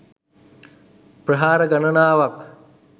ප්‍රහාර ගණනාවක්